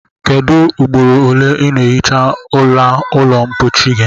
Kedu ugboro ole i na ehicha ala ulo mpochi gi?